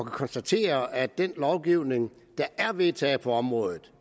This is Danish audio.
konstatere at af den lovgivning der er vedtaget på området